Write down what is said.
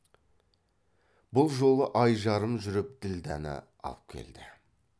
бұл жолы ай жарым жүріп ділдәні алып келді